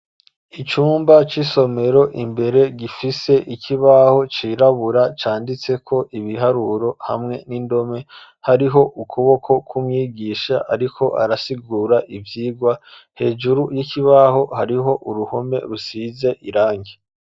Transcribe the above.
Icumba c'isomero imbere gifise ikibaho cirabura canditseko ibiharuro hamwe n'indome hariho ukuboko k'umwigisha ariko arasigura ivyigwa hejuru y'ikibaho hariho uruhome rusize irangi.